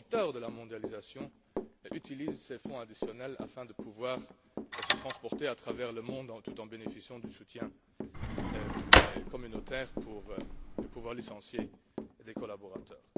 de la mondialisation utilisent ces fonds additionnels afin de pouvoir se transporter à travers le monde, tout en bénéficiant du soutien communautaire pour pouvoir licencier des collaborateurs.